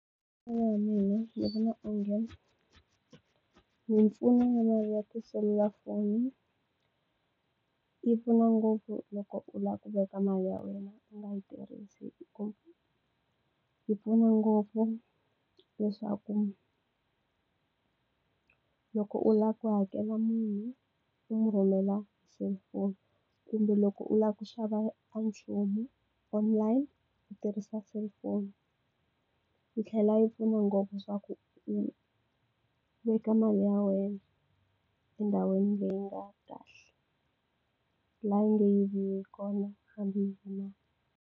Hi ku vona ka mina, ndzi vona onge mpfuno mali ya tiselulafoni yi pfuna ngopfu loko u lava ku veka mali ya wena u nga yi tirhisi . Yi pfuna ngopfu leswaku loko u lava ku hakela munhu u n'wi rhumela hi selifoni, kumbe loko u lava ku xava n'wanchumu online, u tirhisa cellphone. Yi tlhela yi pfuna ngopfu swa ku u veka mali ya wena endhawini leyi nga kahle. kona hambi .